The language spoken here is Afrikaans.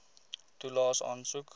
toelaes aansoek